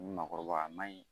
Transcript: Makɔrɔbaya ma ɲi